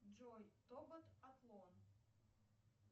джой тобот атлон